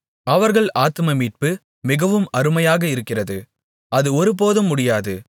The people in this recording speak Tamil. அவர்கள் ஆத்துமமீட்பு மிகவும் அருமையாக இருக்கிறது அது ஒருபோதும் முடியாது